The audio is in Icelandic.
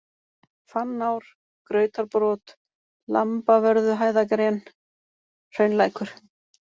Fannár, Grautarbrot, Lambavörðuhæðagren, Hraunlækur